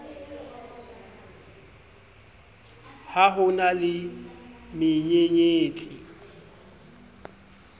ha ho na le menyenyetsi